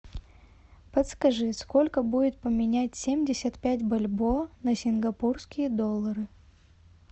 подскажи сколько будет поменять семьдесят пять бальбоа на сингапурские доллары